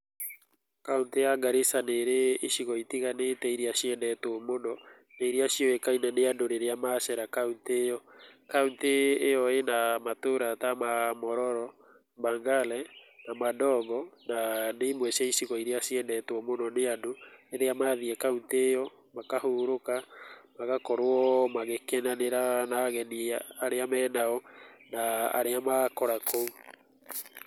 Kauntĩ ya Garissa nĩrĩ icigo itiganĩte iria ciendetwo mũno na iria ciũĩkaine nĩandũ rĩrĩa macera kauntĩ ĩyo. Kauntĩ ĩyo ĩna matũra ta ma Mororo, mbagale Madogo na nĩ imwe cia icigo iria ciendetwo nĩ andũ rĩrĩa mathiĩ kauntĩ ĩyo. Makahurũka magakorwo magĩkenanĩra na ageni arĩa me nao na arĩa makora kũu.